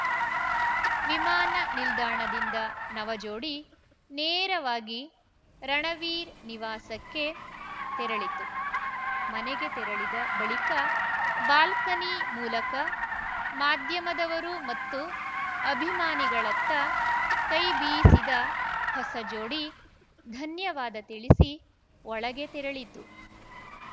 ವಿಮಾನ ನಿಲ್ದಾಣದಿಂದ ನವಜೋಡಿ ನೇರವಾಗಿ ರಣವೀರ್‌ ನಿವಾಸಕ್ಕೆ ತೆರಳಿತು ಮನೆಗೆ ತೆರಳಿದ ಬಳಿಕ ಬಾಲ್ಕನಿ ಮೂಲಕ ಮಾಧ್ಯಮದವರು ಮತ್ತು ಅಭಿಮಾನಿಗಳಿತ್ತ ಕೈಬಿಸಿದ ಹೊಸ ಜೋಡಿ ಧನ್ಯವಾದ ತಿಳಿಸಿ ಒಳಗೆ ತೆರಳಿತು